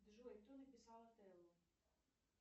джой кто написал ателло